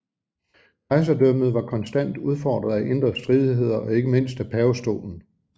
Kejserdømmet var konstant udfordret af indre stridigheder og ikke mindst af pavestolen